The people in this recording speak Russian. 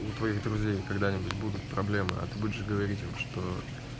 у твоих друзей когда-нибудь будут проблемы а ты будешь говорить им что